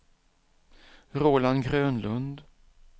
Roland Grönlund